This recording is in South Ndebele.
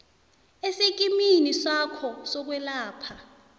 esikimini sakho sokwelapha